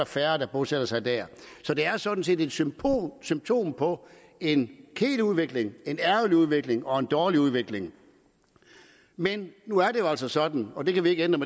færre bosætter sig der det er sådan set et symptom symptom på en kedelig udvikling en ærgerlig udvikling og en dårlig udvikling men nu er det jo altså sådan og det kan vi ikke ændre